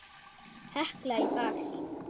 Hekla í baksýn.